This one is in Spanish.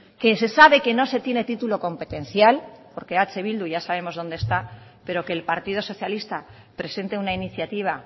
que se sabe que no se tiene título competencial porque eh bildu ya sabemos dónde está pero que el partido socialista presente una iniciativa